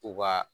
U ka